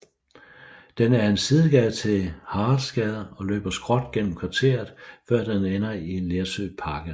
Den er en sidegade til Haraldsgade og løber skråt gennem kvarteret før den ender i Lersø Park Allé